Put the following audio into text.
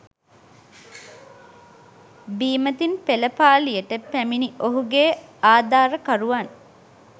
බීමතින් පෙළපාලියට පැමිණි ඔහුගේ ආධාරකරුවන්